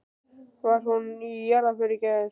Var hún í jarðarför í gær?